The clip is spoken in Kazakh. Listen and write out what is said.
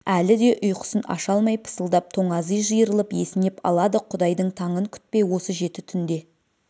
әлі де ұйқысын аша алмай пысылдап тоңази жиырылып есінеп алады құдайдың таңын күтпей осы жеті түнде